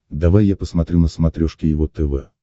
давай я посмотрю на смотрешке его тв